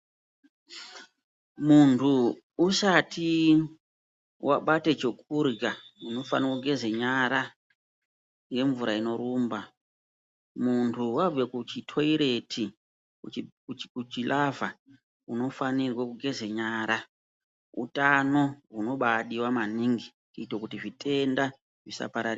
Muntu usati wabata chokurya unofana kugeza nyara nemvura inorumba, muntu wabva kuchitoireti ,kuchilavha unofanirwe kugeza nyara, hutano hunobadiwa maningi kuitira zvitenda zvisapararira